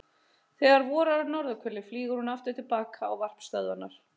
Þegar vorar á norðurhveli flýgur hún aftur til baka á varpstöðvarnar.